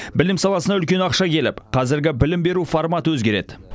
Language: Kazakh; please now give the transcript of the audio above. білім саласына үлкен ақша келіп қазіргі білім беру форматы өзгереді